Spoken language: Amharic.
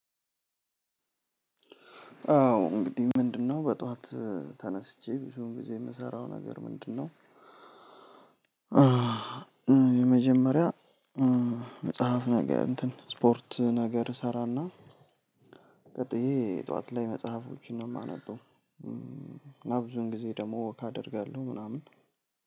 አዎ እንግዲህ ምንድነው በጠዋት ተነስቼ ብዙ ጊዜ የምሰራው ነገር ምንድነው? የመጀመሪያ መጽሐፍ ነገር እንትን ስፖርት ነገር እሰራና ቀጥዬ ጠዋት ላይ መጽሐፎችን ነው የማነበው። ብዙውን ጊዜ ደግሞ ወክ አደርጋለሁ ምናምን።